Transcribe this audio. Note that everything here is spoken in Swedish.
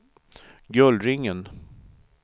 Gullringen